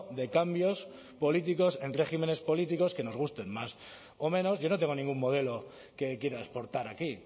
de cambios políticos en regímenes políticos que nos gusten más o menos yo no tengo ningún modelo que quiera exportar aquí